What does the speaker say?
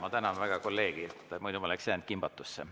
Ma tänan väga kolleegi, muidu oleksin jäänud kimbatusse.